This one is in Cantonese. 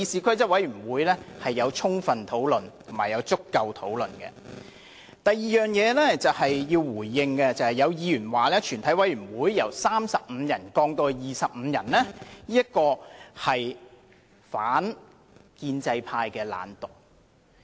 我要回應的第二點是，有議員說把全體委員會的會議法定人數由35人降至25人，是因為建制派議員懶惰。